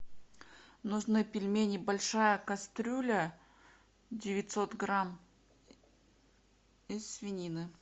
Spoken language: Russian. нужны пельмени большая кастрюля девятьсот грамм из свинины